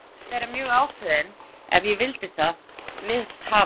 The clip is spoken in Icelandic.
Gat meira að segja verið mjög ákveðinn ef ég vildi það við hafa.